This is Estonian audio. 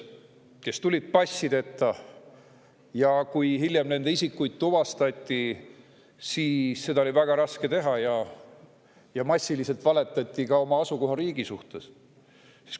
Nad tulid passideta ja hiljem oli nende isikut väga raske tuvastada, massiliselt ka valetati oma asukohariigi kohta.